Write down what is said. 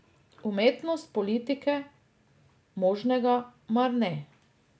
Umetnost politike, možnega, mar ne.